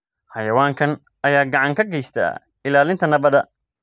Xayawaankan ayaa gacan ka geysta ilaalinta nabadda.